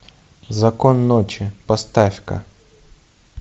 закон ночи поставь ка